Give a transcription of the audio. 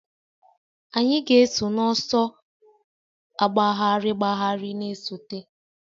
Anyị ga-eso n'ọsọ agbagharị agbagharị na-esote